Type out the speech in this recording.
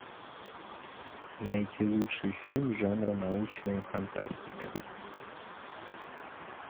найти лучший фильм жанра научная фантастика